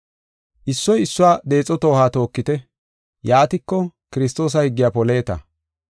Issoy issuwa deexo toohuwa tookite. Yaatiko Kiristoosa higgiya poleeta.